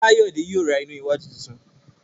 Kayode yíò rá iná wájú títún.